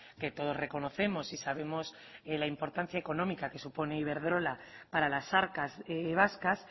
que todos reconocemos y sabemos de la importancia económica que supone iberdrola para las arcas vascas